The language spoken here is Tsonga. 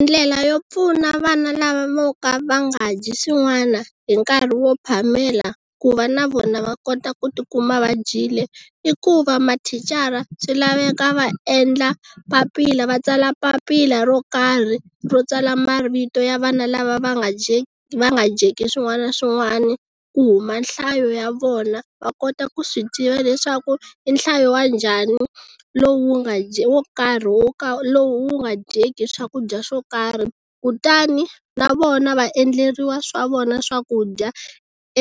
Ndlela yo pfuna vana lava vo ka va nga dyi swin'wana hi nkarhi wo phamela ku va na vona va kota ku ti kuma dyile i ku va mathicara swi laveka va endla papila va tsala papila ro karhi va tsala marito ya vana lava va nga dyeki vanga dyeki swin'wana na swin'wana ku huma nhlayo ya vona va kota ku swi tiva leswaku i nhlayo wa njhani lowu nga wo karhi wo ka lowu wu nga dyeka swakudya swo karhi kutani na vona va endleriwa swa vona swakudya